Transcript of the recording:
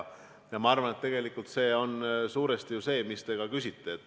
Ma arvan, et tegelikult see ongi suuresti see, mille kohta te küsisite.